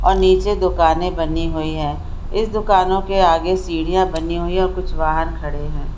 और नीचे दोकाने बनी हुई है। इस दुकानों के आगे सीढ़ियां बनी हुई है और कुछ वाहन खड़े है।